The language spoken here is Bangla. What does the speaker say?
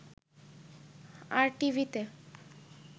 আরটিভিতে